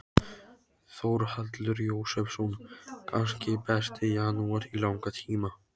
Þórhallur Jósefsson: Kannski besti janúar í langan tíma?